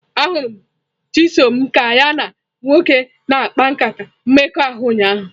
Ahụrụ m Chisom ka ya na nwoke na-akpa nkata mmekọahụ ụnyahụ.